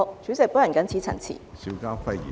主席，我謹此陳辭。